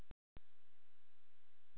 Ylur, hvenær kemur ásinn?